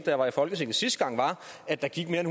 jeg var i folketinget sidste gang var at der gik mere end